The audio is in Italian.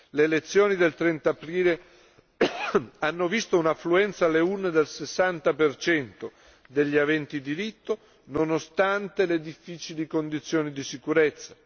Le elezioni del 30 aprile hanno visto un'affluenza alle urne del 60 degli aventi diritto, nonostante le difficili condizioni di sicurezza.